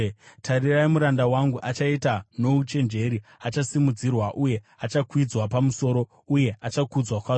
Tarirai muranda wangu achaita nouchenjeri; achasimudzirwa uye achakwidzwa pamusoro, uye achakudzwa kwazvo.